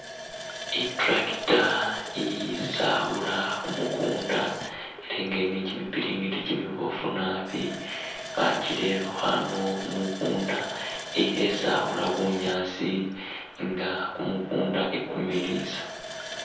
I'tractor isawuula kumukunda ela nga ili ni kimipiriti kimiboofu nabi bakirerekho ano khumukunda i'khesawuula bunyaasi nga kumukunda ikumiliisa.